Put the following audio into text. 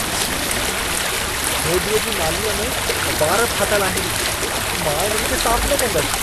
छी! होधीअ जी नालीअ में वार फाथल आहिन। मां इन्हनि खे साफ न कंदसि।